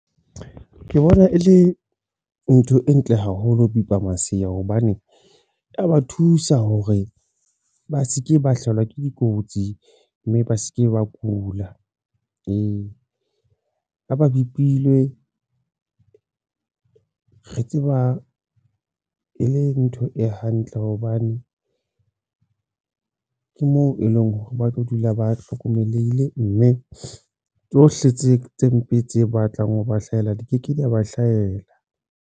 Ke bona e le ntho e ntle haholo ho bipa masea hobane ya ba thusa hore ba se ke ba hlahelwa ke dikotsi mme ba se ke ba kula ha bepilwe re tseba e le ntho e hantle hobane ke moo e leng hore ba tlo dula ba hlokomelehile mme tsohle tse mpe tse batlang ho ba hlahela di ke ke di a ba hlahela.